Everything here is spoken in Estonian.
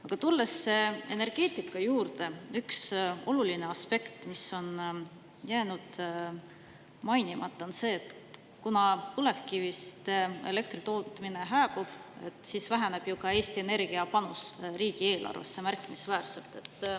Aga tulles energeetika juurde: üks oluline aspekt, mis on jäänud mainimata, on see, et kuna põlevkivist elektri tootmine hääbub, siis Eesti Energia panus riigieelarvesse väheneb märkimisväärselt.